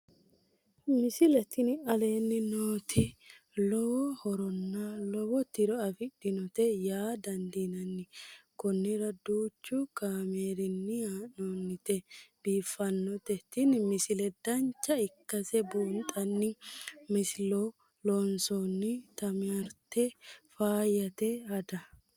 misile tini aleenni nooti lowo horonna lowo tiro afidhinote yaa dandiinanni konnira danchu kaameerinni haa'noonnite biiffannote tini misile dancha ikkase buunxanni masilo loonsoonni timaatime faayyate hada